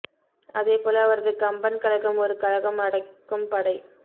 அதேபோல் அவரது கம்பன் கழகம் ஒரு கலகம் அடக்கும் படை